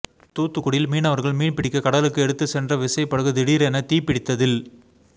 தூத்துக்குடியில் மீனவர்கள் மீன்பிடிக்க கடலுக்கு எடுத்துச் சென்ற விசைப்படகு திடீரென தீப்பிடித்ததில்